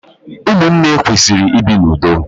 Ụmụnne kwesịrị ibi n'ụdo